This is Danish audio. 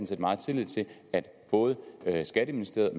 set meget tillid til at både skatteministeriet